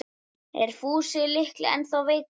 Er Fúsi litli ennþá veikur?